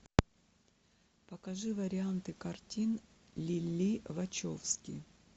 покажи варианты картин лилли вачовски